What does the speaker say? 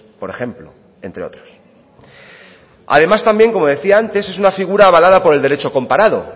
por ejemplo entre otros además también como decía antes es una figura avalada por el derecho comparado